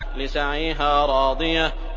لِّسَعْيِهَا رَاضِيَةٌ